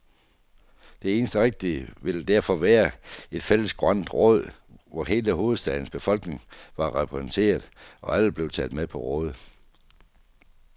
Det eneste rigtige ville derfor være et fælles grønt råd, hvor hele hovedstadens befolkning var repræsenteret, og alle blev taget med på råd.